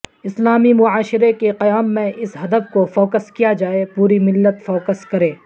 اسلامی معاشرے کے قیام میں اس ھدف کو فوکس کیا جائے پوری ملت فوکس کرے